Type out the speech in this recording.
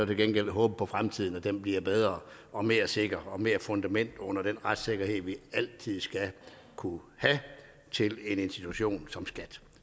gengæld håbe på at fremtiden bliver bedre og mere sikker og med mere fundament under den retssikkerhed vi altid skal kunne have til en institution som skat